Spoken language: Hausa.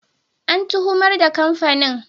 An tuhumar da kamfanin.